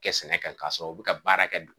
Kɛ sɛnɛ kan ka sɔrɔ u bi ka baara kɛ.